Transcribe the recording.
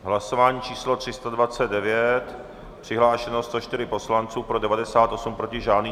Hlasování číslo 329, přihlášeno 104 poslanců, pro 98, proti žádný.